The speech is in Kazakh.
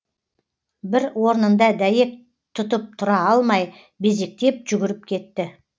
бір орнында дәйек тұтып тұра алмай безектеп жүгіріп кетті